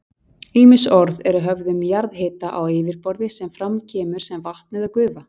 Ýmis orð eru höfð um jarðhita á yfirborði sem fram kemur sem vatn eða gufa.